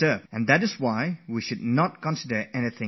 So we should not view anything as trivial or unimportant